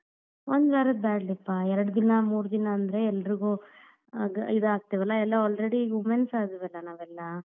ಒಂದ್ ವಾರದ್ ಬ್ಯಾಡ್ ಲೇ ಪಾ, ಎರಡ್ ದಿನಾ ಮೂರ್ ದಿನಾ ಅಂದ್ರೆ ಎಲ್ರಿಗೂ ಅಗ್~ ಇದ್ ಆಗ್ತೇವಾಲಾ ಎಲ್ಲ already womens ಆದ್ವಿಯಲಾ ನಾವೆಲ್ಲಾ.